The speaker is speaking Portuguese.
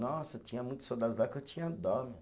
Nossa, tinha muitos soldados lá que eu tinha dó.